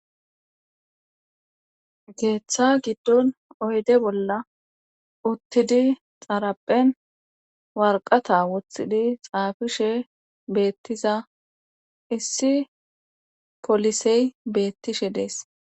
geeththa giddon oyde bolla uttidi xaraphen warqata woththidi xaafishe beettiza issi polisey beettishe dees